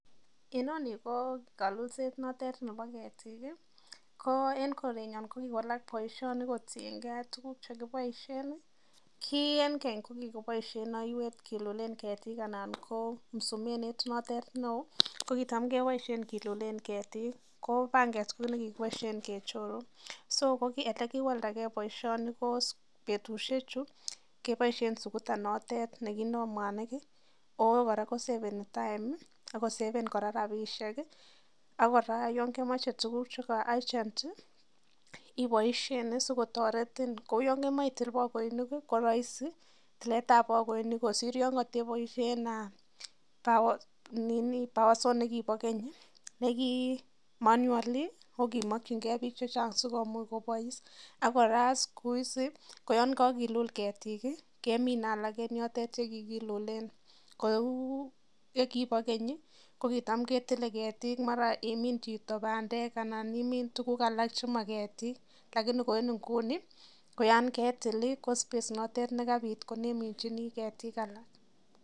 Ino ni ko kalulseet ne ter nepo ketik i. Ko en korenya kokikowalak poishoni kotien gei ak tuguuk che kipaishe. Ki en keny ko kikipaishen aiwet kilulen ketiik anan ko msumenut na ter ne oo, ko kichap kepaishe kilulen ketiik ko pangeet ko ne kikipaishi kechoru. So ole kiwaldagei poishoni ko petushechu kepaishe sukuta no tet ne kindai mwaniik i ako kora koseveni time i akoseven kora rapishek i, ak kora ye kemache tuguuk che urgent i ipaishen asikotaretin , kou ya kemache iti pakoinik ko raisi tilet ap pakoinik kosir yan katepaishen power saw ne ki pa keny, ne ki manual ako kimakchingei piik che chang'si komuch kopais. Ak kora siku hizi ko yan kakilul ketiik keminai alak eng' yotok kikilulen, kou ye kipa keny i, kokicham ketile ketiik mara yemin chito pandek anan imin tuguuk alak che ma ketiik . Lakini Ko en inguni ko space notok ne kapiit ko ne iminchini ketiik.